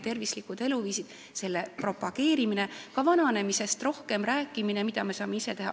Tervislike eluviiside harrastamine ja nende propageerimine, ka vananemisest rohkem rääkimine, see on see, mida me saame ise teha.